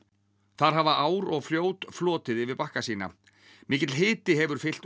þar hafa ár og fljót flotið yfir bakka sína mikill hiti hefur fylgt